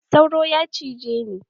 Sauro ya cije ni